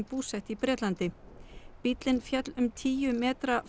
búsett í Bretlandi bíllinn féll um tíu metra